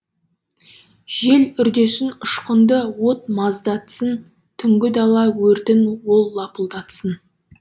жел үрдесін ұшқынды от маздатсын түнгі дала өртін ол лапылдатсын